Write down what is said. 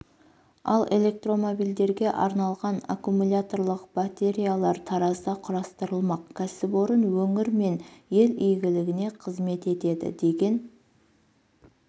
ал электромобильдерге арналған аккумуляторлық батареялар таразда құрастырылмақ кәсіпорын өңір мен ел игілігіне қызмет етеді деген